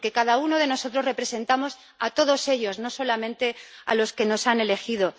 Porque cada uno de nosotros los representa a todos ellos, no solamente a los que nos han elegido.